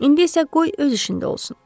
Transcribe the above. İndi isə qoy öz işində olsun.